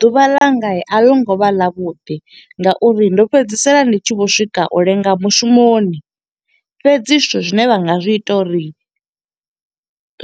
Ḓuvha ḽanga a ḽo ngo vha ḽa vhuḓi nga uri ndo fhedzisela ndi tshi vho swika u lenga mushumoni. Fhedzi zwithu zwine vha nga zwi ita uri